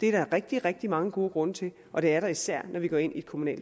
det er der rigtig rigtig mange gode grunde til og det er der især når vi går ind i et kommunalt